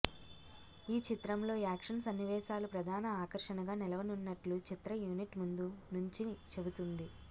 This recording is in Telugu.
ఈ చిత్రంలో యాక్షన్ సన్నివేశాలు ప్రధాన ఆకర్షణగా నిలవనున్నట్లు చిత్ర యూనిట్ ముందు నుంచి చెబుతోంది